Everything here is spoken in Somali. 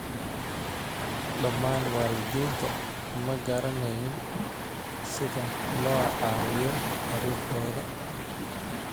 Dhammaan waalidiinta ma garaneyn sida loo caawiyo carruurtooda.